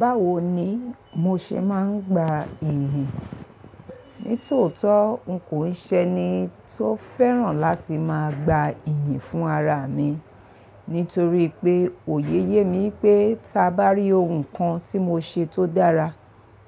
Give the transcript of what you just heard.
Báwo ni mo ṣe máa ń gba iri? Nítòótó n kò ì ṣe ni tó fẹ́ràn láti máa gba iyì fún ara mi. Nítorí pé òye yé mi pé ta bá rí ohun kan tí mo ṣe tó dára,